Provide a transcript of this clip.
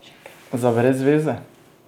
Za brezveze?